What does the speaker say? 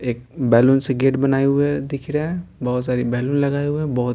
एक बैलून से गेट बनाए हुए दिख रहे है बहुत सारी बैलून लगाए हुए हैं बहुत --